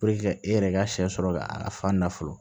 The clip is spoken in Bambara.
e yɛrɛ ka sɛ sɔrɔ ka a ka fan na fɔlɔ